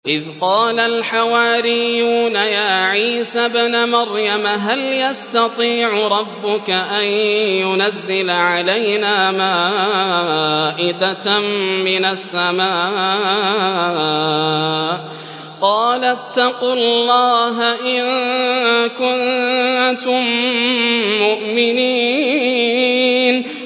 إِذْ قَالَ الْحَوَارِيُّونَ يَا عِيسَى ابْنَ مَرْيَمَ هَلْ يَسْتَطِيعُ رَبُّكَ أَن يُنَزِّلَ عَلَيْنَا مَائِدَةً مِّنَ السَّمَاءِ ۖ قَالَ اتَّقُوا اللَّهَ إِن كُنتُم مُّؤْمِنِينَ